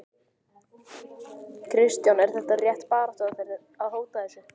Kristján: Er þetta rétt baráttuaðferð, að hóta þessu?